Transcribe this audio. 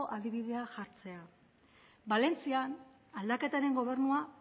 adibidea jartzea valentzian aldaketaren gobernua